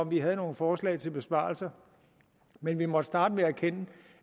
vi havde nogen forslag til besparelser men vi måtte starte med at erkende